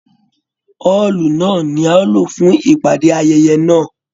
Ọọlú náà ní a o ló fún ìpàdé ayẹyẹ náà.